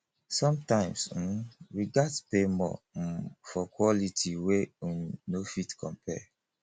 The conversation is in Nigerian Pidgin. sometimes um we gats pay more um for quality wey um no fit compare